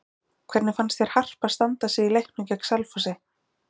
Hvernig fannst þér Harpa standa sig í leiknum gegn Selfossi?